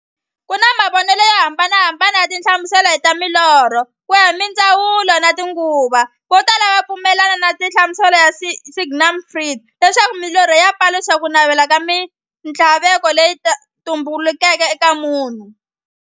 Ku na mavonele yo hambanahambana ya tinhlamuselo ta milorho, kuya hi mindzhavuko na tinguva. Votala va pfumelana na nhlamuselo ya Sigmund Freud, leswaku milorho yi paluxa kunavela na minthlaveko leyi tumbeleke eka munhu.